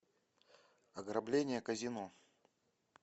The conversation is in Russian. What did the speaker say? ограбление казино